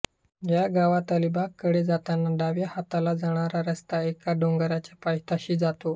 या गावात अलिबाग कडे जाताना डाव्या हाताला जाणारा रस्ता एका डोंगराच्या पायथ्याशी जातो